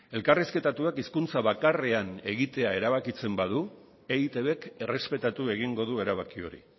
elkarrizketatuak hizkuntza bakarrean egitea erabakitzen badu eitbk errespetatu egingo du erabaki hori